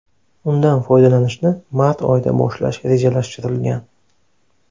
Undan foydalanishni mart oyida boshlash rejalashtirilgan.